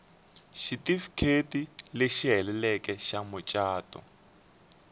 xitifiketi lexi heleleke xa mucato